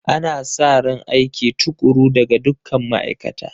Ana sa ran aiki tukuru daga dukkan ma'aikata